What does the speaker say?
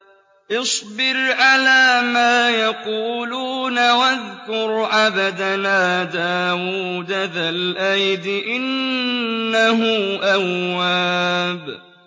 اصْبِرْ عَلَىٰ مَا يَقُولُونَ وَاذْكُرْ عَبْدَنَا دَاوُودَ ذَا الْأَيْدِ ۖ إِنَّهُ أَوَّابٌ